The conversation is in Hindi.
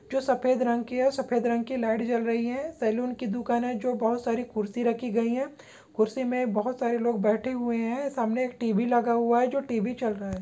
जो सफेद रंग की है सफेद रंग की लाइट जल रही है सलून की दुकान है जो बहुत सारी खुशी रखी गई है कुर्सी में बहुत सारे लोग बैठे हुए हैं सामने टीवी लगा हुआ है जो टीवी चल रहा है।